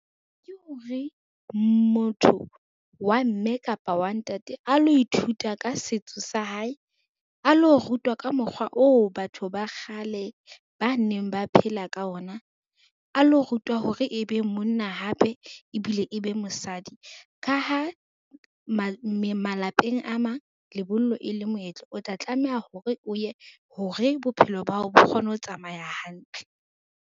Ke hore, motho wa mme kapa wa ntate a lo ithuta ka setso sa hae, a lo rutwa ka mokgwa oo batho ba kgale ba neng ba phela ka ona, a lo rutwa hore e be monna hape ebile e be mosadi. Ka ha malapeng a mang, lebollo e le moetlo o tla tlameha hore o ye hore bophelo bao bo kgone ho tsamaya hantle.